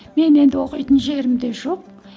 мен енді оқитын жерім де жоқ